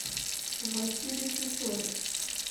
василий сысоев